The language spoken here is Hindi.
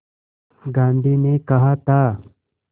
गांधी ने कहा था